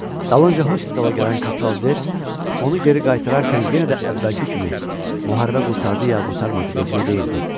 Dalınca hospitala gələn Kapral Zet, onu geri qaytararkən yenə də əvvəlki kimi, müharibə qurtardı ya qurtarmadı vecinə deyildi.